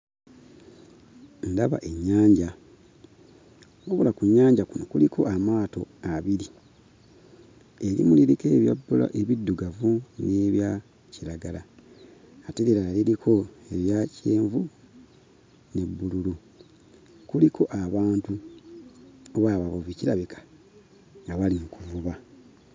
Ndaba ennyanja naye nga ku nnyanja kuno kuliko amaato abiri erimu liriko ebya bbula ebiddugavu n'ebya kiragala ate eddala nga liriko ebya kyenvu ne bbululu. Kuliko abantu n'abavubi, kirabika nga bali mu kuvuba.